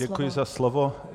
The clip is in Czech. Děkuji za slovo.